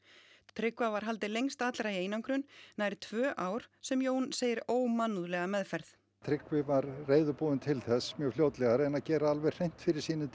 Tryggva var haldið lengst allra í einangrun nær tvö ár sem Jón segir ómannúðlega meðferð Tryggvi var reiðubúinn til þess mjög fljótlega að gera hreint fyrir sínum